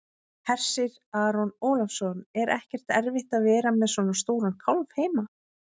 Hersir Aron Ólafsson: Er ekkert erfitt að vera með svona stóran kálf heima?